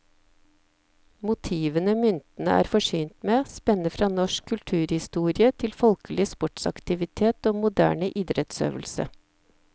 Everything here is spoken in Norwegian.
Motivene myntene er forsynt med, spenner fra norsk kulturhistorie til folkelig sportsaktivitet og moderne idrettsøvelse.